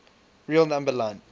real number line